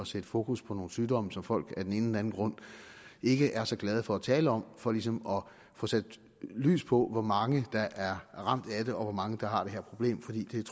sætte fokus på nogle sygdomme som folk af den anden grund ikke er så glade for at tale om for ligesom at få sat lys på hvor mange der er ramt af det og hvor mange der har det her problem